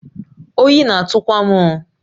Oyi na-atụ kwa m oh!